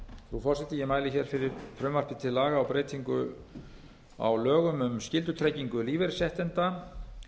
frú forseti ég mæli hér fyrir frumvarpi til laga um breyting á lögum um skyldutryggingu lífeyrisréttinda